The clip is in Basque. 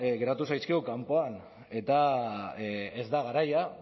geratu zaizkigu kanpoan eta ez da garaia